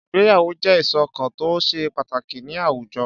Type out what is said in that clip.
Ìgbéyàwó jẹ́ ìṣọ̀kan tó ṣe pàtàkì ní àwùjọ.